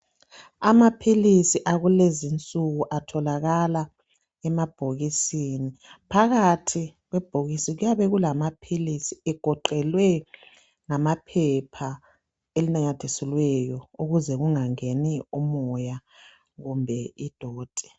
Amaphilisi akulezinsuku atholakala emabhokisini phakathi kwebhokisi kuyabe kulamaphilisi egoqelwe ngamaphepha elinamathiselweyo ukuze kungangeni umoya kumbe idoti.